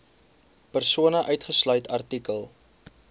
persone uitgesluit artikel